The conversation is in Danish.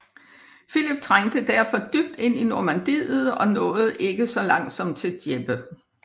Filip trængte derefter dybt ind i Normandiet og nåede så langt som til Dieppe